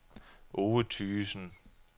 Ove Thygesen